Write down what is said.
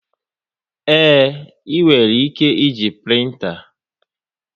Ee, e nwere ike e ji printa